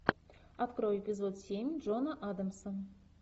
открой эпизод семь джона адамса